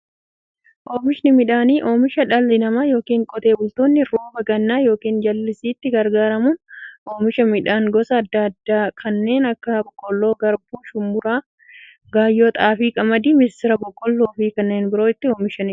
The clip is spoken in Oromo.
Oomishni midhaanii, oomisha dhalli namaa yookiin Qotee bultoonni roba gannaa yookiin jallisiitti gargaaramuun oomisha midhaan gosa adda addaa kanneen akka; boqqolloo, garbuu, shumburaa, gaayyoo, xaafii, qamadii, misira, boloqqeefi kanneen biroo itti oomishamiidha.